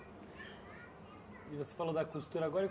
E você falou da costura agora e.